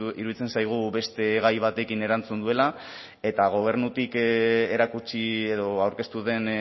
iruditzen zaigu beste gai batekin erantzun duela eta gobernutik erakutsi edo aurkeztu den